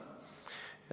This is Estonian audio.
Selle nimel tuleb pingutada.